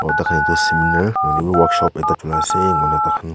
tai khan tu seminar hoile be workshop ekta dholai se mona tai khan--